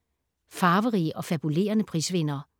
Farverige og fabulerende prisvindere